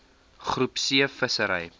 groep c vissery